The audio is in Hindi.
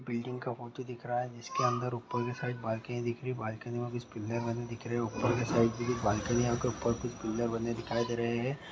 बिल्डिंग का फोटो दिख रहा है जिसके अंदर उपर के साइड बल्कनि दिख रही हैं बाल्कनीया उपर के साइड कुछ पिल्ले बने दिखाई दे रहे हैं।